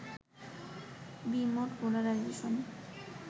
B-mode polarisation